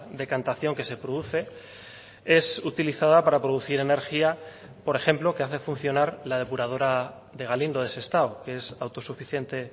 decantación que se produce es utilizada para producir energía por ejemplo que hace funcionar la depuradora de galindo de sestao que es autosuficiente